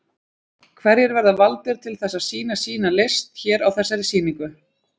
Hverjir verða valdir til þess að sýna sína list hér á þessari sýningu?